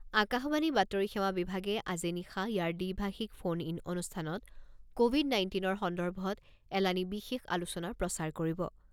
আকাশবাণীৰ বাতৰি সেৱা বিভাগে আজি নিশা ইয়াৰ দ্বিভাষিক ফোন ইন অনুষ্ঠানত ক'ভিড নাইণ্টিনৰ সন্দৰ্ভত এলানি বিশেষ আলোচনা প্ৰচাৰ কৰিব।